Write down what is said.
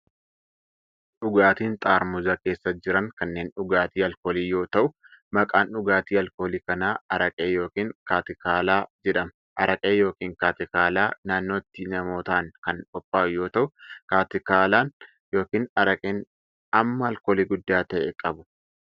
Dhugaatiin xaarmuza keessa jiran kunneen dhugaatii alkoolii yoo ta'u, maqaan dhugaatii alkoolii kanaa araqee yookin kaatikaalaa jedhama. Araqee yookin kaatikaalaa naannotti namootaan kan qophaa'uu yoo ta'u, kaatikaalaan yookin araqeen hamma alkoolii guddaa ta'e qabu.